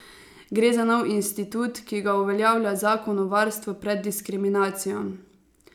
Gre za nov institut, ki ga uveljavlja zakon o varstvu pred diskriminacijo.